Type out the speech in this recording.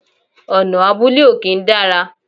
Ọ̀nà abúlé ò kí ń dára